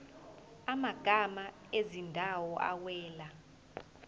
amagama ezindawo awela